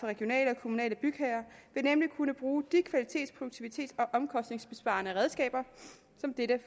regionale bygherrer vil nemlig kunne bruge de og omkostningsbesparende redskaber som dette